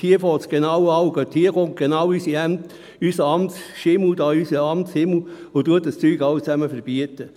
Genau dort fängt es an, und genau dort kommt unser Amtsschimmel und verbietet dies alles.